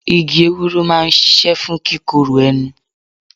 Igi ewúro máa ń ṣíṣe fún kíkorò ẹnu.